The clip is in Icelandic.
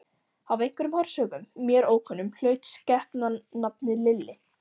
Af einhverjum orsökum, mér ókunnum, hlaut skepnan nafnið Lilli.